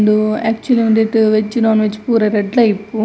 ಉಂದು ಎಕ್ಚುಲಿ ಒಂದೆಟ್ veg non veg ಪೂರ ರಡ್ಡುಲ ಇಪ್ಪು.